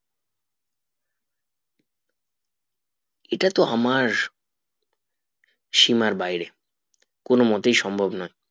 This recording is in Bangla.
এটা তো আমার সীমার বাইরে কোনো মোতে সম্ভব না